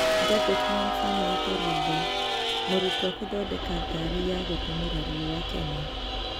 Gadget Man Samuel Karumbo:Mũrutwa kũthondeka ngari ya gũtumĩra riũa Kenya